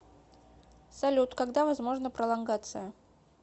салют когда возможна пролонгация